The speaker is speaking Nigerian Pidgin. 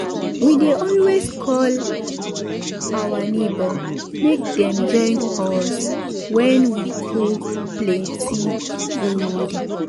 we dey always call our neighbour make dem join us when we cook plenty food